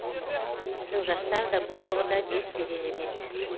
біздің жастар да бұл тұрғыда дес берер емес